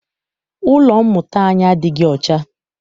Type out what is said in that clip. Ụlọ mmụta anyi adịghị ọcha.